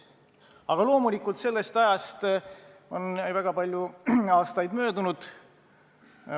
Aga loomulikult sellest ajast on väga palju aastaid möödunud.